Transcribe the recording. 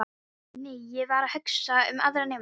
Nei, ég var ekki að hugsa um aðra nemendur.